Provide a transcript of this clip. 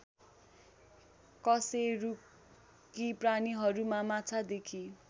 कशेरुकी प्राणीहरूमा माछादेखि